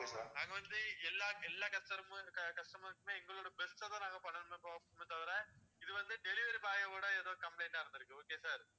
நாங்க வந்து எல்லா எல்லா customers க்குமே எங்களோட best அ தான் பண்ணணும்னு நினைப்போமே தவிர இது வந்து delivery boy யோட ஏதோ complaint ஆ இருந்துருக்கு okay யா sir